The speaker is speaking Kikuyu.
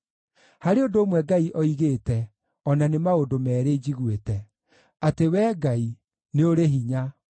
Harĩ ũndũ ũmwe Ngai oigĩte, o na nĩ maũndũ meerĩ njiguĩte: atĩ Wee Ngai, nĩ ũrĩ hinya,